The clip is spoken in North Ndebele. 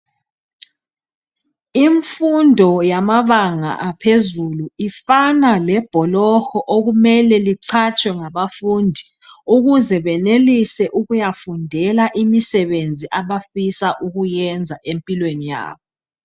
Imfundo yamabanga aphezulu ifana lamabholoho okumele licatshwe ngabafundi ukuze benelise ukuyufundela imisebenzi abafisa ukuyayiyenza empilweni yabo.